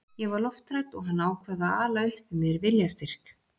Ég var lofthrædd og hann ákvað að ala upp í mér viljastyrk.